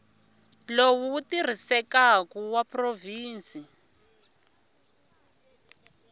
lowu wu tirhisekaku wa provhinsi